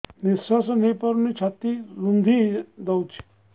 ନିଶ୍ୱାସ ନେଇପାରୁନି ଛାତି ରୁନ୍ଧି ଦଉଛି